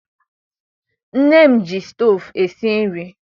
Nne m ji stovu esi nri.